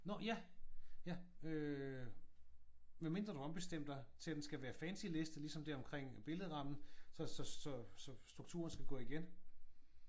Nå ja! Ja øh medmindre du har ombestemt dig til at den skal være fancy liste ligesom der omkring billedrammen så så så øh strukturen skal gå igen